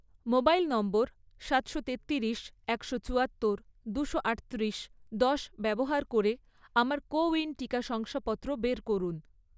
mobile নম্বর সাতশো তেত্তিরিশ, একশো চুয়াত্তর, দুশো আটত্রিশ, দশ ব্যবহার করে আমার কোউইন টিকা শংসাপত্র বের করুন